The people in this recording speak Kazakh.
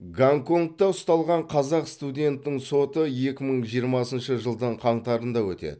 гонконгта ұсталған қазақ студентінің соты екі мың жиырмасыншы жылдың қаңтарында өтеді